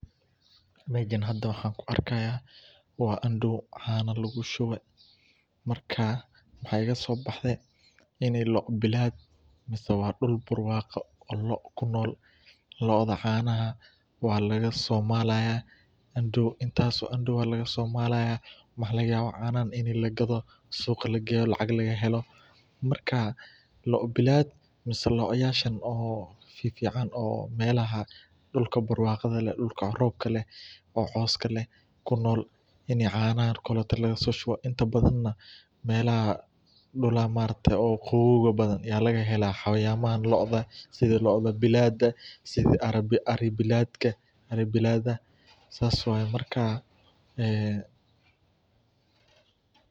Meshan hada waxan kuarkaya wa andow cana lagushuwee marka mahaigasobaxde ini loo bilad lagawo, wa duul barwago oo loo kunol looda canaha walagasomalaya andow intas oo andow aya lagasomalaya waxa lagayawa canahan in lagado suqaa lageyo lacag lagahelo, marka loo bilad mise loo yashan oo fifican oo melaha dulka barwaqada ee dulka roobka leh ee cooska leh kunol, ini canaha oo kalote lagasoliso inta badan melaha maaraktee qawowga badan aya lagahela xawayamahan looda sidha looda bilada sidha arii biladka sas waye marka ee.